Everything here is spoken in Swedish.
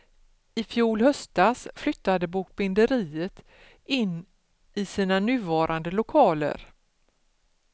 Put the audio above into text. Ifjol höstas flyttade bokbinderiet in i sina nuvarande lokaler.